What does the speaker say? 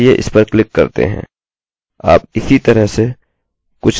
चलिए इस पर क्लिक करते हैं आप इसी तरह से कुछ देख सकते हैं जैसे प्रश्न चिन्ह